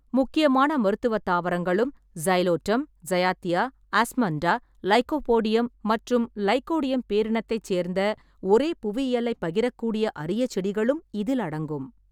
முக்கியமான மருத்துவத் தாவரங்களும், சைலோட்டம், சையாத்தியா, ஆஸ்மண்டா, லைக்கோபோடியம் மற்றும் லைக்கோடியம் பேரினத்தைச் சேர்ந்த ஒரே புவியியலைப் பகிரக்கூடிய அரிய செடிகளும் இதில் அடங்கும்.